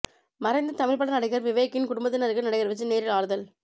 மறைந்த தமிழ்ப்பட நடிகர் விவேக்கின் குடும்பத்தினருக்கு நடிகர் விஜய் நேரில் ஆறுதல்